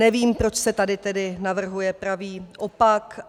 Nevím, proč se tady tedy navrhuje pravý opak.